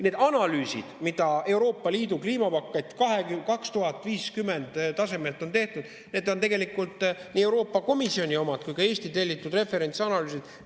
Need analüüsid, mida Euroopa Liidu kliimapaketi 2050 tasemelt on tehtud, on tegelikult nii Euroopa Komisjoni omad kui ka Eesti tellitud referentsanalüüsid.